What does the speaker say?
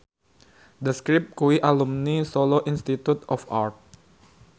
The Script kuwi alumni Solo Institute of Art